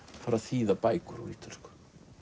fara að þýða bækur úr ítölsku